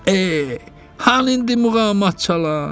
Ey, hanı indi muğamat çalar?